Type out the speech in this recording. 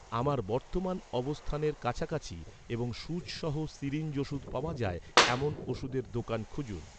আমার বর্তমান অবস্থানের কাছাকাছি এবং সুচ সহ সিরিঞ্জ ওষুধ পাওয়া যায়, এমন ওষুধের দোকান খুঁজুন